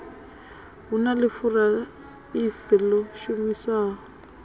hu na ḽifurase ḽo shumiswaho